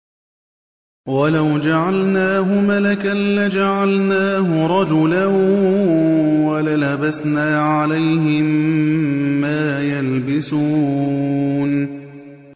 وَلَوْ جَعَلْنَاهُ مَلَكًا لَّجَعَلْنَاهُ رَجُلًا وَلَلَبَسْنَا عَلَيْهِم مَّا يَلْبِسُونَ